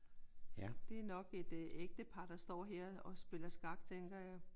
Det er nok et ægtepar der står her og spiller skak tænker jeg